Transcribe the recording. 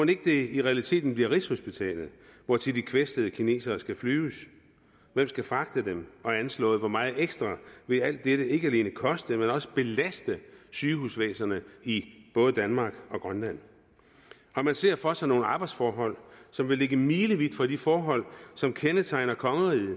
det ikke i realiteten bliver rigshospitalet hvortil de kvæstede kinesere skal flyves hvem skal fragte dem og anslået hvor meget ekstra vil alt dette ikke alene koste men også belaste sygehusvæsenet i både danmark og grønland man ser for sig nogle arbejdsforhold som vil ligge milevidt fra de forhold som kendetegner kongeriget